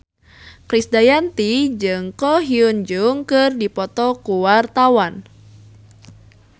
Krisdayanti jeung Ko Hyun Jung keur dipoto ku wartawan